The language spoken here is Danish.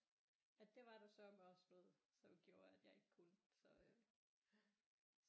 At det var der sørme også noget som gjorde at jeg ikke kunne så øh